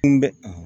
Kun bɛ